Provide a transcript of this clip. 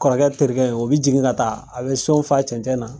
Kɔrɔkɛ terikɛ, o be jigin ka taa. A bɛ son fa cɛncɛn na.